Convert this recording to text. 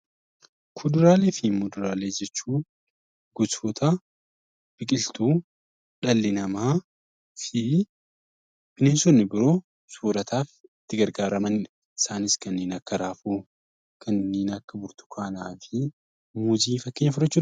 Kuduraalee fi muduraalee jechuun gosoota biqiltoota dhalli namaa fi bineensonni biroo soorataaf itti gargaaramanidha. Isaanis kanneen akka raafuu, kanneen akka burtukaanaa fi muuzii fakkeenya fudhachuu dandeenya.